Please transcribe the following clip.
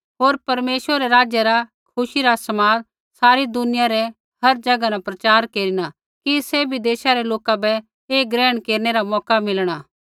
होर परमेश्वरै रै राज्य रा खुशी रा समाद सारी दुनिया रै हर ज़ैगा न प्रचार केरिना कि सैभी देशा रै लोका बै ऐ ग्रहण केरनै रा मौका मिलणा